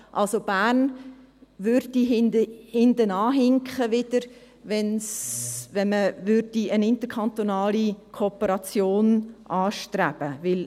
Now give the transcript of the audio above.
Also, Bern würde wieder hinterherhinken, wenn man eine interkantonale Kooperation anstreben würde.